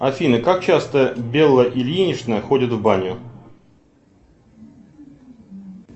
афина как часто белла ильинична ходит в баню